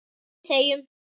Við þegjum.